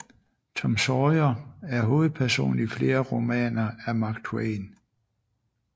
Tom Sawyer er hovedperson i flere romaner af Mark Twain